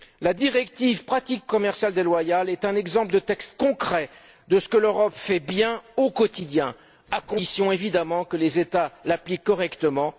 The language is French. La directive sur les pratiques commerciales déloyales est un exemple de texte concret de ce que l'Europe fait bien au quotidien, à condition évidemment que les États l'appliquent correctement.